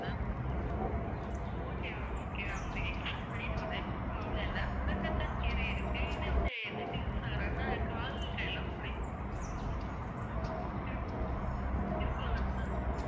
okay ma'am okay நான் உங்களுக்கு explain பண்ணி சொல்றேன் ma'am எதுவும் problem இல்ல. முடக்கத்தான் கீரை இருக்கு, இது வந்து எதுக்கு use ஆகுறாங்கன்னா கால் கைலாம் முடங்கி இரு~ இருக்கும்ல ma'am.